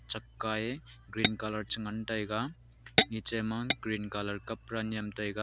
chakka ye green colour chi ngantaga niche ma green colour kapda nyemtaiga.